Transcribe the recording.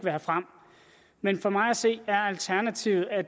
have frem men for mig at se er alternativet at